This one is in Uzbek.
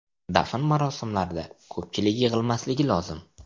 Dafn marosimlarida ko‘pchilik yig‘ilmasligi lozim.